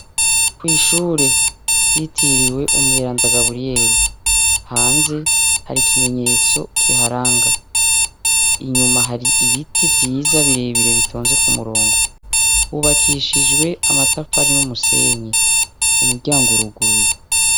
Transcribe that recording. Kw'ishure ryitiriwe Umweranda Gaburiyeri, hanze hari ikimenyetso kiharanga. Inyuma hari ibiti vyiza birebire bitonze kumurongo. Hubakishijwe amatafari n'umusenyi, umuryango uruguruye.